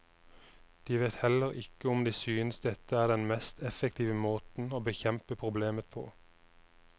De vet heller ikke om de synes dette er den mest effektive måten å bekjempe problemet på.